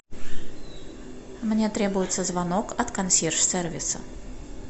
мне требуется звонок от консьерж сервиса